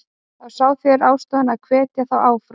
Þá sjá þeir ástæðu að hvetja þá áfram.